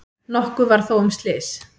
Nokkuð var þó um slys.